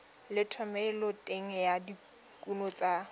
le thomeloteng ya dikuno tsa